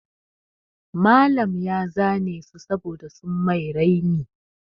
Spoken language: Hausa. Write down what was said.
Malam ya zane su saboda sun mai raini.